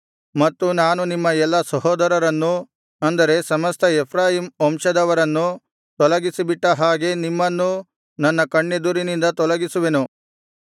ಮತ್ತು ನಾನು ನಿಮ್ಮ ಎಲ್ಲಾ ಸಹೋದರರನ್ನು ಅಂದರೆ ಸಮಸ್ತ ಎಫ್ರಾಯೀಮ್ ವಂಶದವರನ್ನು ತೊಲಗಿಸಿಬಿಟ್ಟ ಹಾಗೆ ನಿಮ್ಮನ್ನೂ ನನ್ನ ಕಣ್ಣೆದುರಿನಿಂದ ತೊಲಗಿಸುವೆನು